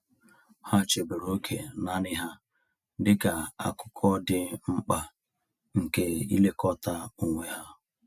Ha chebere oge naanị ha dịka akụkụ dị mkpa nke ilekọta onwe ha.